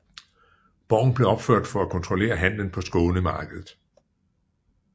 Borgen blev opført for at kontrollere handelen på Skånemarkedet